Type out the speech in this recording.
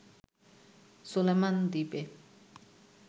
Solomon দ্বীপে